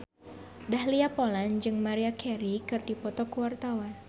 Dahlia Poland jeung Maria Carey keur dipoto ku wartawan